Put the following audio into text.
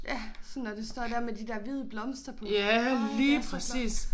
Ja sådan når det står der med de der hvide blomster på. Ej det er så flot